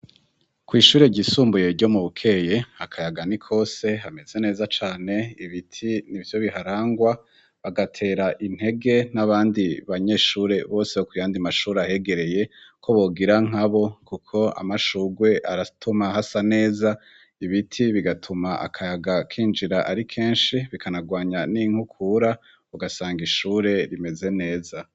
Kw'ishure ryisumbuye ryo mu bukeye akayaga ni kose hameze neza cane ibiti ni vyo biharangwa bagatera intege n'abandi banyeshure bosekuyandi mashuri ahegereye ko bogira nka bo, kuko amashugwe aratuma hasa neza ibiti bigatuma akayaga kinjirari i kenshi bikanarwanya n'inkukura ugasanga ishure rimeze neza.